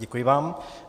Děkuji vám.